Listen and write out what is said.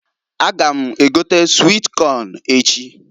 A ga m egota swit Kọn echi.